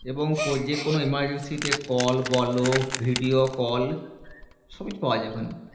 এবং কো যেকোনো emergency তে call বলো video call সবই তো পাওয়া যায় ওখানে